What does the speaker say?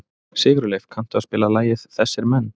Sigurleif, kanntu að spila lagið „Þessir Menn“?